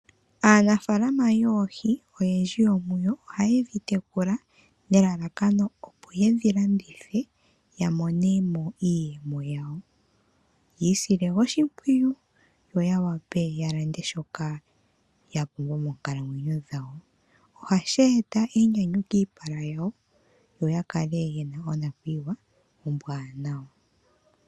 Aanafaalama yoohi oyendji yomuyo ohaye dhi tekula nelalakano ye dhi landithe ya mone mo iiyemo yawo. Yi isile oshimpwiyu yo ya wape ya lande shoka ya pumbwa moonkalamwenyo dhawo. Ohashi eta enyanyu kiipala yawo yo ya kale ye na onakuyiwa ombwaanawa.